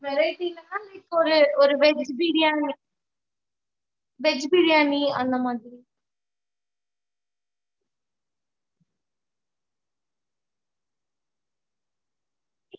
எப்படி? tomato rice அந்த மாதிரி கேக்கறீங்களா இல்ல? okay mam பிரியாணி மட்டும் வேணுங்களா இல்ல அதுக்கூட இன்னும் வேற specific ஆ வேற எதுனாச்சும் சொல்றீங்களா?